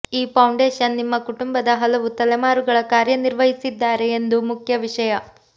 ಈ ಫೌಂಡೇಶನ್ ನಿಮ್ಮ ಕುಟುಂಬದ ಹಲವು ತಲೆಮಾರುಗಳ ಕಾರ್ಯನಿರ್ವಹಿಸಿದ್ದಾರೆ ಎಂದು ಮುಖ್ಯ ವಿಷಯ